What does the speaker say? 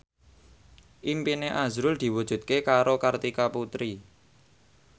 impine azrul diwujudke karo Kartika Putri